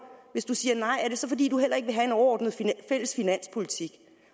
hvis du siger nej er det så fordi du heller ikke vil have en overordnet fælles finanspolitik